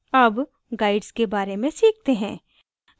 अब guides के बारे में सीखते हैं